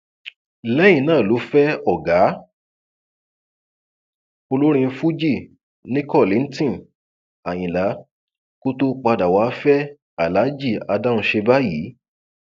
lẹyìn náà ló fẹ ọgá olórin fuji nni kollington ayinla kó tóó padà wàá fẹ aláàjì adáhunṣe báyìí